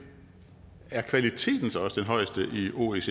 er kvaliteten så også den højeste i oecd